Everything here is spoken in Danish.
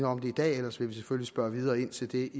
om det i dag ellers vil vi selvfølgelig spørge videre ind til det